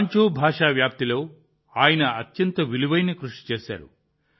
వాంచో భాష వ్యాప్తిలో ఆయన అత్యంత విలువైన కృషి చేశారు